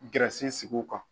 Gɛrɛsi sigi o kan.